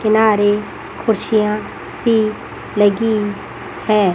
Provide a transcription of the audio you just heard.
किनारे खुशियां सी लगी हैं।